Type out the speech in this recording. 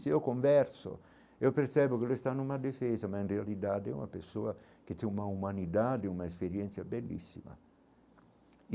Se eu converso, eu percebo que ele está numa defesa, mas na realidade é uma pessoa que tem uma humanidade, uma experiência belíssima.